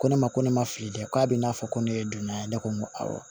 Ko ne ma ko ne ma fili dɛ k'a bɛna fɔ ko ne ye dunan ye ne ko n ko awɔ